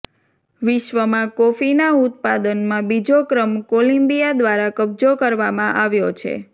વિશ્વમાં કોફીના ઉત્પાદનમાં બીજો ક્રમ કોલમ્બિયા દ્વારા કબજો કરવામાં આવ્યો છે